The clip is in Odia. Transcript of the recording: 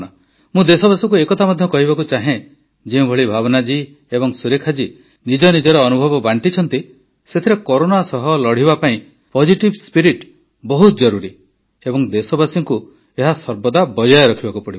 ମୁଁ ଦେଶବାସୀଙ୍କୁ ଏକଥା ମଧ୍ୟ କହିବାକୁ ଚାହେଁ ଯେଉଁଭଳି ଭାବନା ଜୀ ଏବଂ ସୁରେଖା ଜୀ ନିଜ ନିଜର ଅନୁଭବ ବାଣ୍ଟିଛନ୍ତି ସେଥିରେ କରୋନା ସହ ଲଢ଼ିବା ପାଇଁ ପୋଜିଟିଭ୍ ସ୍ପିରିଟ୍ ବହୁତ ଜରୁରୀ ଏବଂ ଦେଶବାସୀଙ୍କୁ ଏହା ସର୍ବଦା ବଜାୟ ରଖିବାକୁ ପଡ଼ିବ